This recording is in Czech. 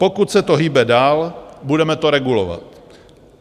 Pokud se to hýbe dál, budeme to regulovat.